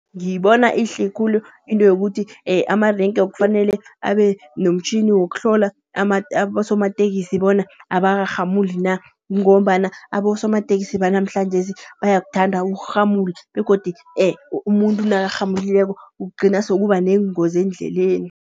Ngiyibona iyihle khulu into yokuthi amarenge kufanele abe nomtjhini wokuhlola abosomatekisi bona abarhamuli na. Kungombana abosomatekisi banamhlanjesi bayakuthanda ukurhamula begodu umuntu nakarhamulileko kugcina sekuba neengozi eendleleni.